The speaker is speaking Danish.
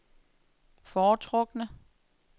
foretrukne